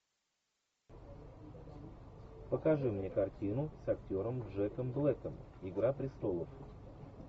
покажи мне картину с актером джеком блэком игра престолов